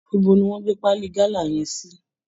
Ibo ni wọ́n gbé paali gálà yẹn sí!